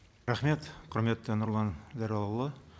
рахмет құрметті нұрлан зайроллаұлы